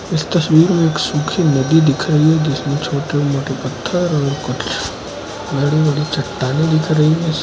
इस तस्वीर में एक सुखी नदी दिखाई दे रही है जिसमें छोटे बड़े पत्थर और कुछ बड़ी बड़ी चट्टानें दिख रही है।